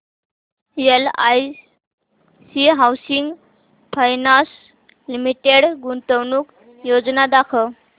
LIC housing finance limited गुंतवणूक योजना दाखव